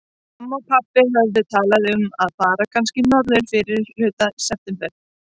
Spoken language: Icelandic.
Mamma og pabbi höfðu talað um að fara kannski norður í fyrrihluta september.